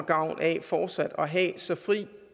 gavn af fortsat at have så fri